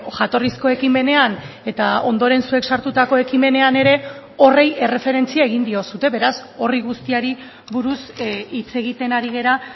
jatorrizko ekimenean eta ondoren zuek sartutako ekimenean ere horri erreferentzia egin diozue beraz horri guztiari buruz hitz egiten ari gara